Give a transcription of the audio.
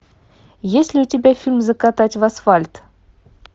есть ли у тебя фильм закатать в асфальт